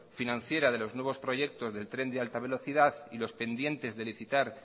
financiera de los nuevos proyectos del tren de alta velocidad y los pendientes de licitar